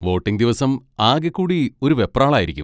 Voting ദിവസം ആകെക്കൂടി ഒരു വെപ്രാളം ആയിരിക്കും.